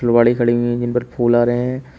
और गाड़ी खड़ी हुई है जिन पर फूल आ रहे हैं।